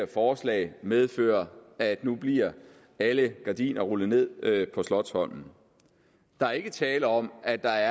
forslaget medfører at nu bliver alle gardiner rullet ned på slotsholmen der er ikke tale om at der